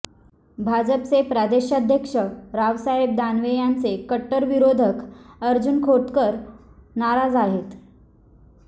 भाजपचे प्रदेशाध्यक्ष रावसाहेब दानवे यांचे कट्टर विरोधक अर्जुन खोतकर नाराज आहेत